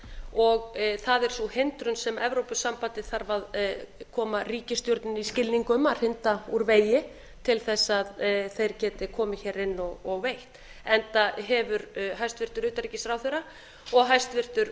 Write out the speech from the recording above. og það er sú hindrun sem evrópusambandið þarf að koma ríkisstjórninni í skilning um að hrinda úr vegi til þess að þeir geti komið hér inn og veitt enda hafa hæstvirts utanríkisráðherra og hæstvirtur